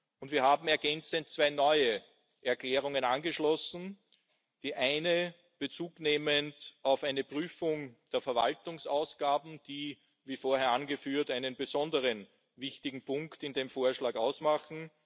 Und wir haben ergänzend zwei neue Erklärungen angeschlossen, die eine Bezug nehmend auf eine Prüfung der Verwaltungsausgaben, die, wie vorher angeführt, einen besonderen, wichtigen Punkt in dem Vorschlag ausmachen.